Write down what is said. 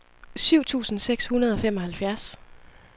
syv tusind seks hundrede og femoghalvfjerds